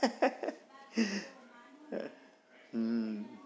હુ